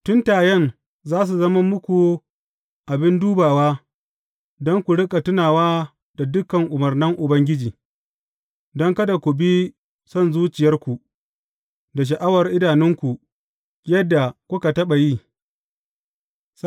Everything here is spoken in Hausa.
Tuntayen za su zama muku abin dubawa don ku riƙa tunawa da dukan umarnan Ubangiji, don kada ku bi son zuciyarku, da sha’awar idanunku yadda kuka taɓa yi.